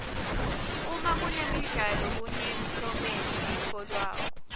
uma kunemidlalo kunemklomelo letfolwako